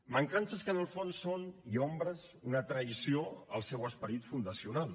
mancances que en el fons són i ombres una traïció al seu esperit fundacional